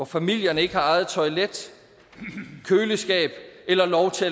familier ikke har eget toilet køleskab eller lov til